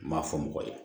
N m'a fɔ mɔgɔ ye